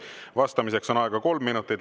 Vastamiseks on aega kolm minutit.